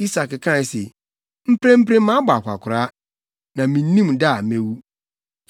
Isak kae se, “Mprempren mabɔ akwakoraa, na minnim da a mewu.